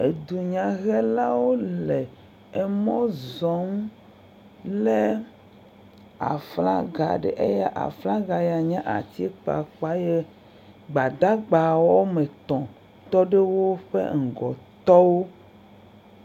Edunyahelawo le emɔ zɔm lé aflaga ɖe eye aflaga ya nye atikpakpa eye gbadagba woame tɔ̃ tɔ ɖe woƒe ŋgɔ tɔ wo.